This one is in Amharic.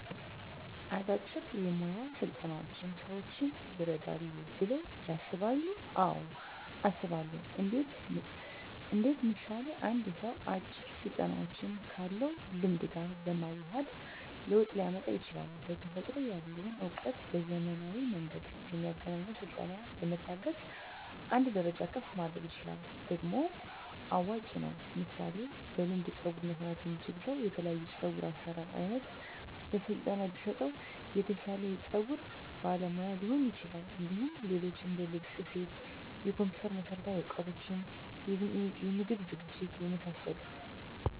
አጫጭር የሞያ ስልጠናዎች ሰዎችን ይረዳሉ ብለው ያስባሉ አዎ አስባለሁ እንዴት ምሳሌ አንድ ሰው አጭር ስልጠናዎችን ካለው ልምድ ጋር በማዋሀድ ለውጥ ሊያመጣ ይችላል በተፈጥሮ ያለውን እውቀት በዘመናዊ መንገድ በሚያገኘው ስልጠና በመታገዝ አንድ ደረጃ ከፍ ማድረግ ይችላል ደግሞም አዋጭ ነው ምሳሌ በልምድ ፀጉር መስራት የሚችል ሰው የተለያዮ የፀጉር አሰራር አይነት በስለጠና ቢሰጠው የተሻለ የፀጉር ባለሙያ ሊሆን ይችላል እንዲሁም ሌሎች እንደልብስ ስፌት የኮምፒተር መሠረታዊ እውቀቶች የምግብ ዝግጅት የመሳሰሉት